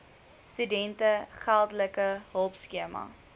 studente geldelike hulpskema